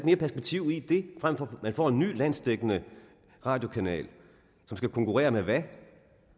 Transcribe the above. mere perspektiv i det frem for at man får en ny landsdækkende radiokanal som skal konkurrere med hvad